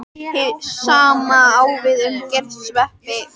Hið sama á við um gersveppi.